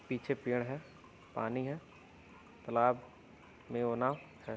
पीछे पेड़ है पानी है तालाब मेवाना है।